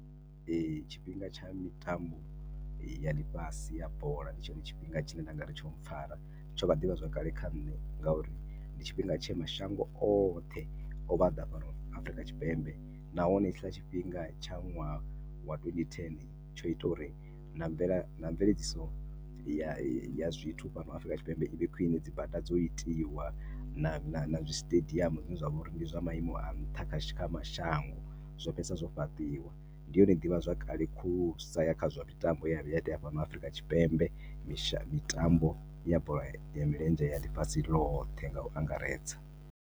Tshifhinga tsha mitambo ya ḽifhasi ya bola ndi tshone tshifhinga tshine ndi nga ri tsho mpfhara. Tsho vha ḓivhazwakale kha nṋe ngauri ndi tshifhinga tshe mashango oṱhe o vha o ḓa Afrika Tshipembe nahone hetshiḽa tshifhinga tsha ṅwaha wa twendi thene, tsho ita uri na mvela, na mveledziso ya zwithu fhano Afrika Tshipembe i vhe ya khwine. Dzi bada dzo itiwa na zwiṱediamu zwine zwa vha uri ndi zwa maimo a nṱha kha sha, kha mashango, zwo fhedzisela zwo fhaṱiwa. Ndi yone ḓivhazwakale khulusa ya kha zwa mitambo ye ya vhuya ya itea fhano Afrika Tshipembe, mitambo ya bola ya milenzhe ya ḽifhasi ḽothe nga u angaredza.